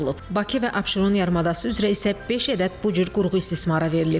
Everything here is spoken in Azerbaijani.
Bakı və Abşeron yarımadası üzrə isə beş ədəd bu cür qurğu istismara verilib.